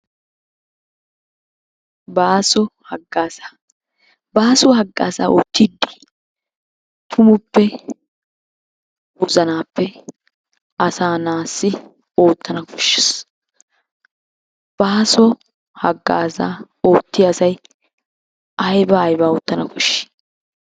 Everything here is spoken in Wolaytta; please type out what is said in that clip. Baaso hagaaza, baaso hagaaza oottidi tumuppe wozanappe asa naassi oottana koshshees. Baaso hagaaza oottiya asay aybba aybba oottana koshshi?